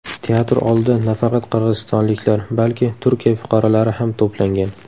Teatr oldida nafaqat qirg‘izistonliklar, balki Turkiya fuqarolari ham to‘plangan.